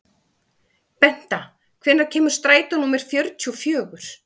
Benta, hvenær kemur strætó númer fjörutíu og fjögur?